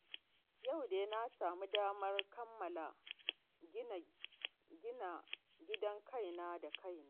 Yau dai na samu damar kammala ginin gidan kaina da kaina